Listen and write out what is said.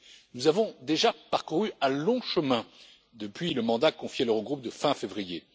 du FMI. Nous avons déjà parcouru un long chemin depuis le mandat confié à l'Eurogroupe de fin